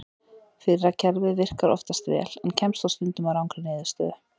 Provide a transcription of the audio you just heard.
Fyrra kerfið virkar oftast vel en kemst þó stundum að rangri niðurstöðu.